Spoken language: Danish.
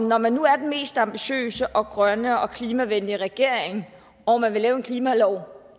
når man nu er den mest ambitiøse og grønne og klimavenlige regering og man vil lave en klimalov